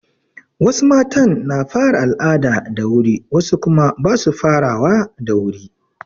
Wasu matan na fara al'ada da wuri wasu kuma ba su farawa da wuri.